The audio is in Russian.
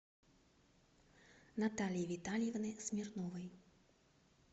натальи витальевны смирновой